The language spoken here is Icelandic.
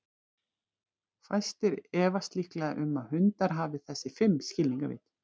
Fæstir efast líklega um að hundar hafi þessi fimm skilningarvit.